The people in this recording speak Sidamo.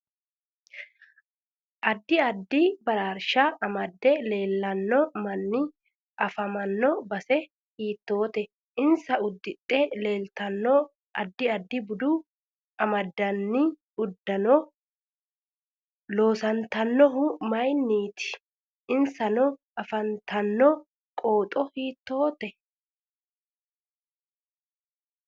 Addi addi baraarsha amade leelanno manni afamanno base hiitoote insa uddidhe leeltanno addi addi bude amadini uddano loosantinohu mayiiniiti insa afantanno qooxo hiitoote